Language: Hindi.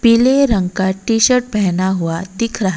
पीले रंग का टी शर्ट पहना हुआ दिख रहा--